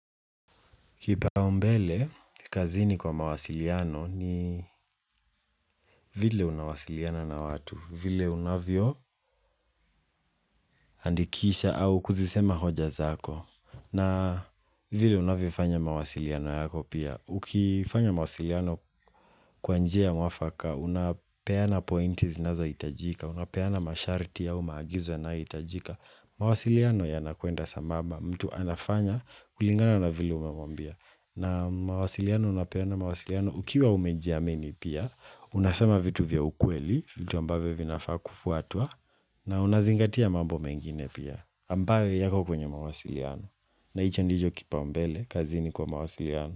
Kipaumbele, kazini kwa mawasiliano ni vile unawasiliana na watu, vile unavyo andikisha au kuzisema hoja zako. Na vile unavyo fanya mawasiliano yako pia. Ukifanya mawasiliano kwa njia mwafaka, unapeana pointi zinazo itajika, unapeana masharti au maagizo yanayo itajika. Mawasiliano yanakuenda sambamba mtu anafanya kulingana na vile unavyomwambia. Na mawasiliano unapeana mawasiliano, ukiwa umeji amini pia, unasema vitu vya ukweli, vitu ambavyo vinafaa kufuatwa, na unazingatia mambo mengine pia, ambayo yako kwenye mawasiliano. Na hicho ndicho kipaumbele, kazini kwa mawasiliano.